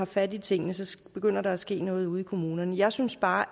fat i tingene så begynder der at ske noget ude i kommunerne jeg synes bare